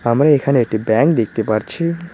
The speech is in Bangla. আমরা এখানে একটি ব্যাংক দেখতে পারছি।